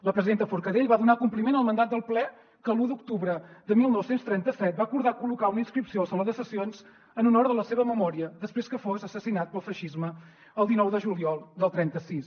la presidenta forcadell va donar compliment al mandat del ple que l’un d’octubre de dinou trenta set va acordar col·locar una inscripció al saló de sessions en honor de la seva memòria després que fossin assassinats pel feixisme el dinou de juliol del trenta sis